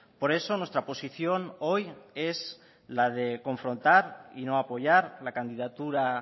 por eso nuestra posición hoy es la de confrontar y no apoyar la candidatura